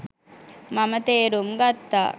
මම තේරුම් ගත්තා